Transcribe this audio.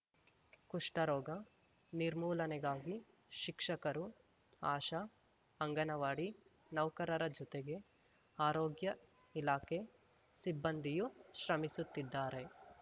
ಕುಷ್ಠರೋಗ ನಿರ್ಮೂಲನೆಗಾಗಿ ಶಿಕ್ಷಕರು ಆಶಾ ಅಂಗನವಾಡಿ ನೌಕರರ ಜೊತೆಗೆ ಆರೋಗ್ಯ ಇಲಾಖೆ ಸಿಬ್ಬಂದಿಯೂ ಶ್ರಮಿಸುತ್ತಿದ್ದಾರೆ